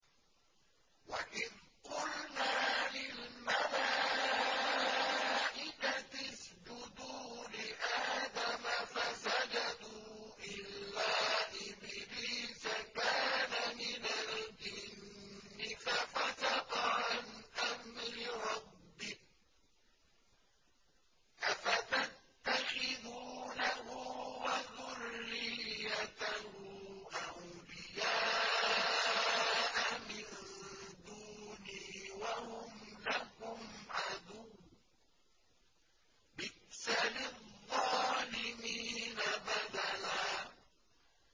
وَإِذْ قُلْنَا لِلْمَلَائِكَةِ اسْجُدُوا لِآدَمَ فَسَجَدُوا إِلَّا إِبْلِيسَ كَانَ مِنَ الْجِنِّ فَفَسَقَ عَنْ أَمْرِ رَبِّهِ ۗ أَفَتَتَّخِذُونَهُ وَذُرِّيَّتَهُ أَوْلِيَاءَ مِن دُونِي وَهُمْ لَكُمْ عَدُوٌّ ۚ بِئْسَ لِلظَّالِمِينَ بَدَلًا